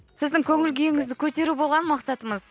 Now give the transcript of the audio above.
сіздің көңіл күйіңізді көтеру болған мақсатымыз